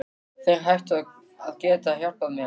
Þeir ættu að geta hjálpað þér.